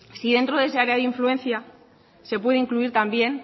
si dentro de esa área de influencia se puede incluir también